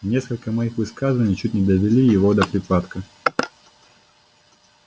несколько моих высказываний чуть не довели его до припадка